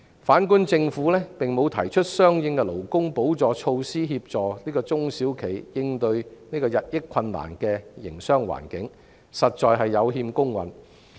反觀政府並無提出相應的補助措施，以協助中小企應對日益困難的營商環境，實在有欠公允。